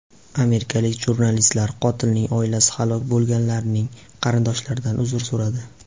Amerikalik jurnalistlar qotilining oilasi halok bo‘lganlarning qarindoshlaridan uzr so‘radi.